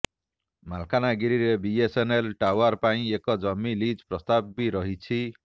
ମାଲକାନଗିରିରେ BSNL tower ପାଇଁ ଏକ ଜମି ଲିଜ ପ୍ରସ୍ତାବ ବି ରହିଛି